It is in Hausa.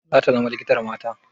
Zata zama likitar mata?